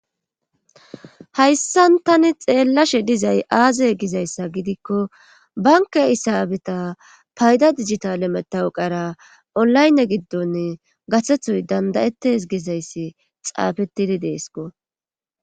Hayssan tani xeellashe dizay aaze gizayssa gidikko bankka isaabeta payda digitale metawu qara olaynne giddonni gathethoy danda7ettes gizayssi xaafettidi deesko.